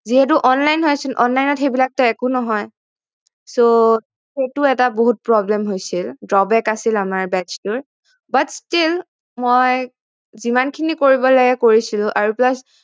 যিহেতু online হৈ আছিল online ত সেইবিলাক টো একো নহয় সেইটো এটা বহুত problem হৈছিল আছিল আমাৰ batch টোৰ but still মই যিমান খিনি কৰিব লাগে কৰিছিলো আৰু plus